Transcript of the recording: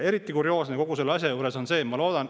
Eriti kurioosne kogu selle asja juures on see.